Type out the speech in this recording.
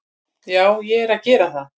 Já, ég er að gera það.